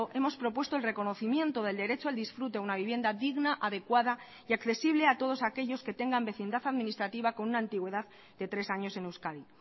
hemos propuesto el reconocimiento del derecho al disfrute a una vivienda digna adecuada y accesible a todos aquellos que tengan vecindad administrativa con una antigüedad de tres años en euskadi